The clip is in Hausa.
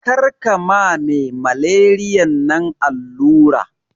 Karka ma me malariyan nan allura